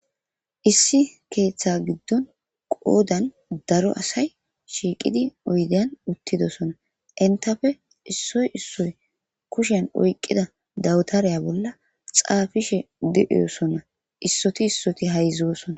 Issi keeththa giddon qoodan daro asay shiiqidi oydeyan uttidosona. Entappe issoy issoy kushiyan oyqqida dawutareyiya bolla xaafishe di7osona. issoti issoti hayzosona.